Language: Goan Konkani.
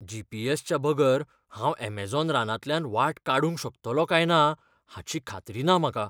जी. पी. एस.च्या बगर हांव अमेझॉन रानांतल्यान वाट काडूंक शकतलों काय ना हाची खात्री ना म्हाका.